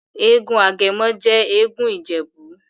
egún Agemo he egún ijebu'.